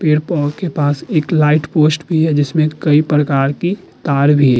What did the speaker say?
पेड़ के पास एक लाइट पोस्ट भी है। जिसमें कई प्रकार के तार भी हैं।